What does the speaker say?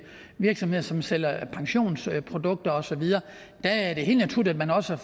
virksomheder som sælger pensionsprodukter og så videre der er det helt naturligt at man også